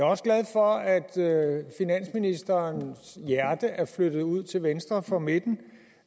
også glad for at finansministerens hjerte er flyttet ud til venstre for midten